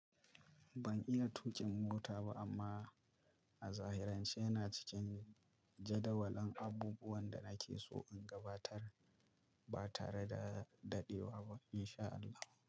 Ban iya tuƙin mota ba amma a zahiran ce yana cikin jadawalin abubuwan da nake so in gabatar ba tare da daɗewa ba in sha Allah.